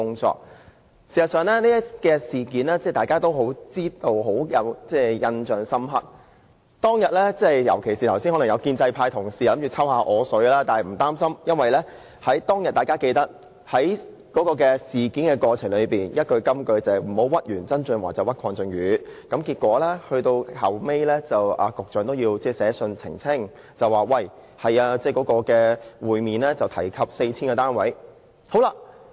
事實上，大家對此事也有深刻的印象，而儘管建制派同事剛才想向我"抽水"，但我並不擔心，因為大家都記得當時曾經出現一句金句，就是"不要屈完曾俊華就屈鄺俊宇"，結果局長其後也要發信澄清，說會面確有提及 4,000 個單位。